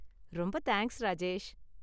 ரொம்ப தேங்க்ஸ், ராஜேஷ்.